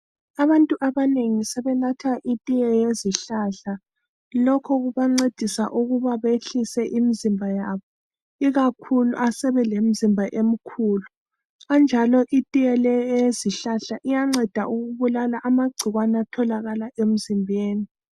Abantu abanengi sebenatha itiye yezihlahla lokho kubancedisa ukuba behlise imizimba yabo, ikakhulu asabelemzimba emkhulu. Kanjalo itiye leyi eyezihlahla iyanceda ukubulala amagcikwane atholakala emzimbeni.